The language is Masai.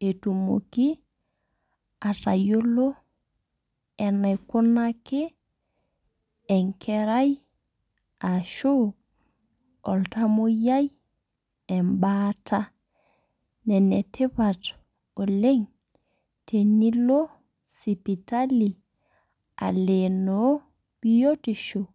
etunoki atayiolo enaikunaki enkarai ashu iltamoyiai ebaata. Ene tipat oleng' tenilo sipitali aleeno biotisho.